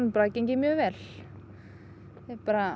bara gengið mjög vel bara